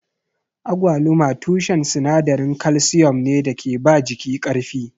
Agwaluma tushen sinadarin kalsiyom ne da ke ba jiki ƙarfi.